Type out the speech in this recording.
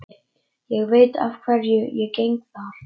Ég veit að hverju ég geng þar.